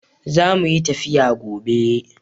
Zamuyi tafiya gobe